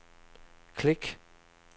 klik